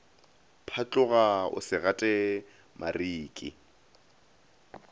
phatloga o se gate mariki